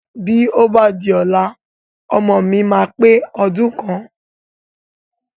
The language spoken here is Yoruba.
Bí ó bá di ọ̀la, ọmọ mi yóò pe ọdún kan